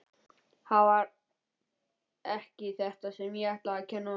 Það var ekki þetta sem ég ætlaði að kenna honum.